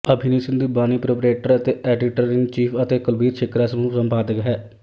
ਅਭਿਮਨਿਉ ਸਿੰਧੂ ਬਾਨੀ ਪ੍ਰੋਪਰੀਏਟਰ ਅਤੇ ਐਡੀਟਰਇਨਚੀਫ਼ ਹੈ ਅਤੇ ਕੁਲਬੀਰ ਛਿਕਰਾ ਸਮੂਹ ਸੰਪਾਦਕ ਹੈ